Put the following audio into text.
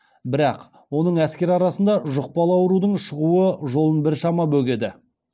бірақ оның әскер арасында жұқпалы аурудың шығуы жолын біршама бөгеді